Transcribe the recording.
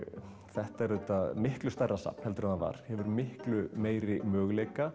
þetta er auðvitað miklu stærra safn heldur en það var hefur miklu meiri möguleika